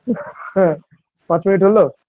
হ্যাঁ পাঁচ minute হলো